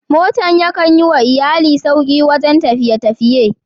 Motan ya kan Yi ma iyallai sauki a wajen tafiye-tafiye.